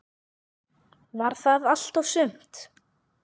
Var það allt og sumt?